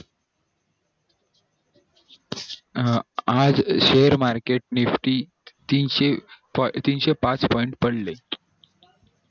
हा आज share market fifty तीनशे पाच point पडले